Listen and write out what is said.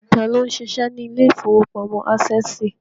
Tá ló ń ṣiṣẹ́ ní ilé ìfowópamọ́ Ásẹ̀sì?